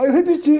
Aí eu repeti.